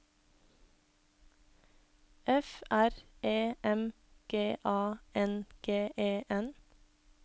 F R E M G A N G E N